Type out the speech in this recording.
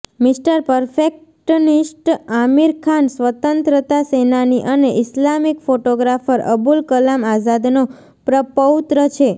mister perfectionist Aamir Khan સ્વાતંત્રતા સેનાની અને ઈસ્લામિક ફોટોગ્રાફર અબુલ કલામ આઝાદનો પ્રપૌત્ર છે